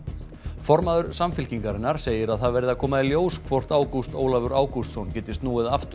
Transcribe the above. formaður Samfylkingarinnar segir að það verði að koma í ljós hvort Ágúst Ólafur Ágústsson geti snúið aftur á